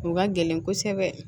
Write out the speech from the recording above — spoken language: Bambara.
O ka gɛlɛn kosɛbɛ